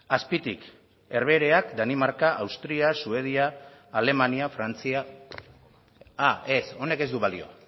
azpitik herbehereak danimarka austria suedia alemania frantzia ah ez honek ez du balio